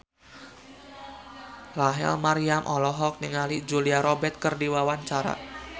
Rachel Maryam olohok ningali Julia Robert keur diwawancara